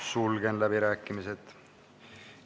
Sulgen läbirääkimised.